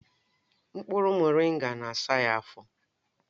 Mkpụrụ moringa na-asa ya afọ